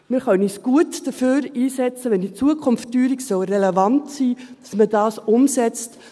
Wir können uns gut dafür einsetzen, wenn in Zukunft die Teuerung relevant sein sollte, dass man das umsetzt.